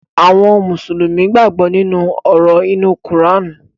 Àwọn Mùsùlùmí gbàgbó nínú òrò inu Kùránì